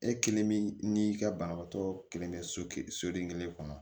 E kelen min n'i ka banabaatɔ kelen kɛ soden kelen kɔnɔ